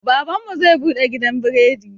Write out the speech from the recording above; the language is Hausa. Baban mu zai buɗe gidan biredi.